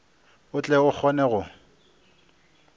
o tle o kgone go